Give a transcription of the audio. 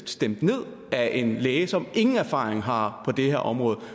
stemt ned af en læge som ingen erfaring har på det her område